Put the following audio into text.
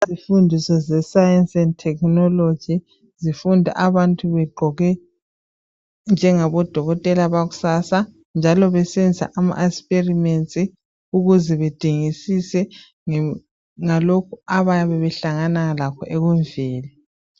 Izifundiso ze science and technology zifundwa abantu begqoke njengabo dokotela bakusasa njalo besenza ama experiments ukuze bedingisise ngalokhu abayabe behlangana lakho ekumveni.